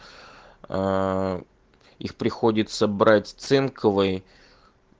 а их приходится брать цинковой